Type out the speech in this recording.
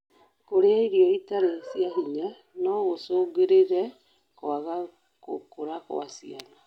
kũria irio itari cia hinya noicũngĩrĩre kwaga gũkũra gwa ciana